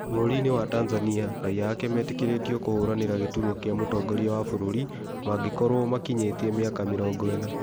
bũrũri-inĩwa Tanzania raia ake metĩkĩrĩtio kũhũranĩra gĩturwa kĩa mũtongoria wa bũrũri mangĩkorwo makinyĩtie mĩaka mĩrongo ĩna.